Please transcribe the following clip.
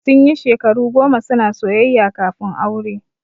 Sun yi shekaru goma suna soyayya kafin aure.